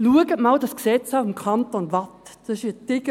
Schauen Sie einmal das Gesetz des Kantons Waadt an: